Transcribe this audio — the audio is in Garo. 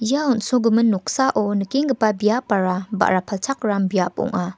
ia on·sogimin noksao nikenggipa biapara ba·ra palchakram biap ong·a.